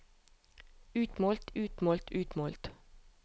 utmålt utmålt utmålt